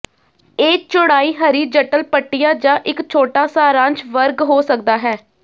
ਇਹ ਚੌੜਾਈ ਹਰੀਜੱਟਲ ਪੱਟੀਆਂ ਜਾਂ ਇਕ ਛੋਟਾ ਸਾਰਾਂਸ਼ ਵਰਗ ਹੋ ਸਕਦਾ ਹੈ